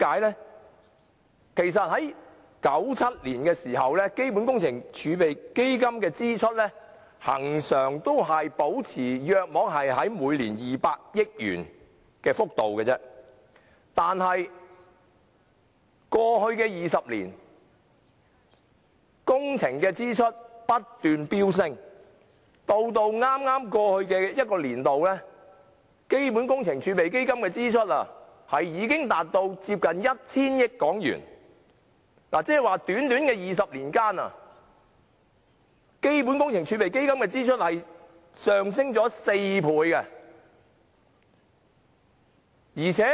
在1997年，基本工程儲備基金的支出恆常維持每年約200億元的幅度，但過去20年的工程支出不斷飆升，就在至剛過去的財政年度，基本工程儲備基金的支出已多達約 1,000 億港元，即在短短的20年間，基本工程儲備基金的支出上升了4倍。